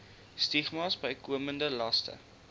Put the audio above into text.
stigmas bykomende laste